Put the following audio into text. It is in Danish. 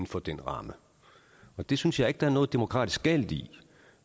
for den ramme det synes jeg ikke der er noget demokratisk galt i